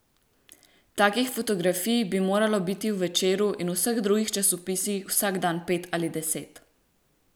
Takih fotografij bi moralo biti v Večeru in v vseh drugih časopisih vsak dan pet ali deset.